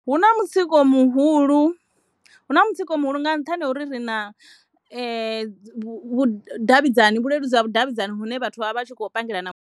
Hu na mutsiko muhulu hu na mutsiko muhulu nga nṱhani ha uri ri na vhudavhidzani, vhuleludzi ha vhudavhidzani vhune vhathu vha vha vha tshi khou pangelana.